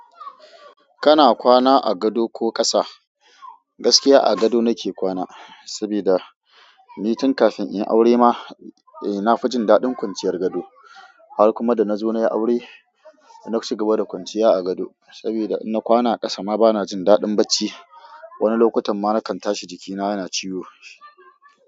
Kana kwana a gado ko ƙasa? Gaskiya a gado nake kwana, sabida nitin kafin in aure ma eh na fi jin daɗin kwanciyar gado har kuma da na zo nayi aure, na cigaba da kwanciya a gado saboda in na kwana a ƙasa ma bana jin daɗin bacci, wani lokutan ma nakan tashi jikina yana ciwo.